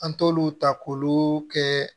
An t'olu ta k'olu kɛ